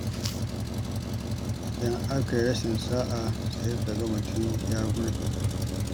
Idan aka yi rashin sa'a, sai ka ga mutum ya gurɗe.